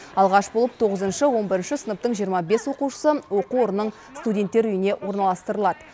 алғаш болып тоғызыншы он бірінші сыныптың жиырма бес оқушысы оқу орнының студенттер үйіне орналастырылады